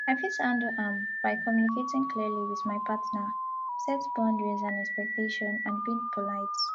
i fit handle am by communicating clearly with my partner set boundaries and expectations and being polite